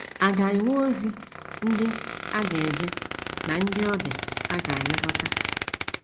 A ga - enwe ozi ndị a ga - eje na ndị ọbịa a ga - elekọta.